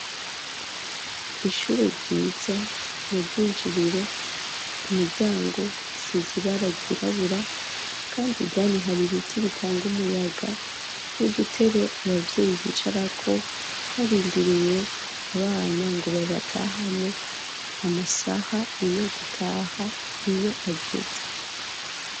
Ishure ryiza mu bw'injiriro imiryango isize ibara ryirabura kandi hari ibiti bitanga umuyaga n'udutebe abavyeyi bicara ko barindiriye abana ngo babatahane amasaha iyo gutaha iyo ageze.